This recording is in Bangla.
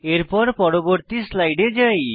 এরপর পরবর্তী স্লাইডে যাই